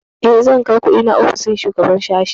Eh, zan kai kundina ofishin shugaban sashi?